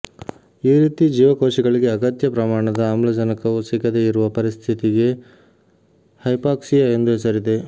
ಈ ರೀತಿ ಜೀವಕೋಶಗಳಿಗೆ ಅಗತ್ಯ ಪ್ರಮಾಣದ ಆಮ್ಲಜನಕವು ಸಿಗದೇ ಇರುವ ಪರಿಸ್ಥಿತಿಗೆ ಹೈಪಾಕ್ಸಿಯಾ ಎಂದು ಹೆಸರಿದೆ